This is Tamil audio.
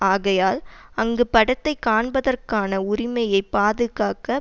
ஆகையால் அங்கு படத்தை காண்பதற்கான உரிமையை பாதுகாக்க